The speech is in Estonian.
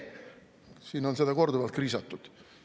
Siin on seda korduvalt kriisatud.